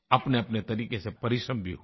अपनेअपने तरीक़े से परिश्रम भी हुआ